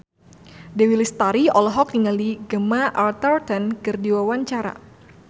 Dewi Lestari olohok ningali Gemma Arterton keur diwawancara